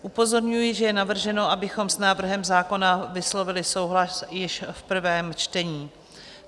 Upozorňuji, že je navrženo, abychom s návrhem zákona vyslovili souhlas již v prvém čtení.